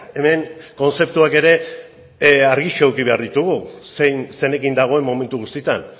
hemen kontzeptuak ere argiago eduki behar ditugu zein zeinekin dagoen momentu guztietan